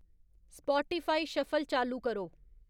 Spotify shuffle चालू करो